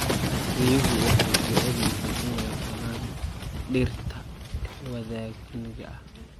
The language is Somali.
Riyuhu waxay jecel yihiin inay cunaan dhirta waddaniga ah.